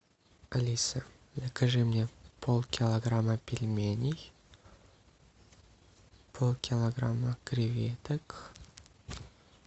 алиса закажи мне пол килограмма пельменей пол килограмма креветок